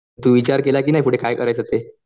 तू विचार केला का नाही पुढे काय करायचं ते?